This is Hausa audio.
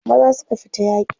maza suka fita yaki